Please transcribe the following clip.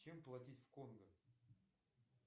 чем платить в конго